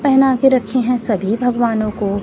पहना के रखे है सभी भगवानों को।